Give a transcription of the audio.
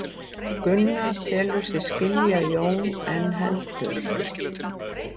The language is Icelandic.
Gunna telur sig skilja Jón en heldur.